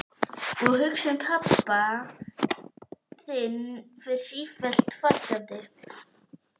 Í Kröflu eru seguláhrifin ekki eins skýr.